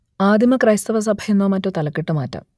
ആദിമ ക്രൈസ്തവ സഭ എന്നോ മറ്റോ തലക്കെട്ട് മാറ്റാം